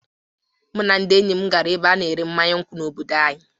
Mụ na ndị enyi m gara na ebe a-na ere mmanya nkwu n'obodo anyị.